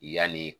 Yanni